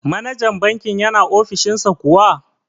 Manajan bankin yana ofishin sa kuwa?